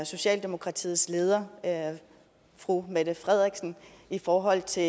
socialdemokratiets leder fru mette frederiksen i forhold til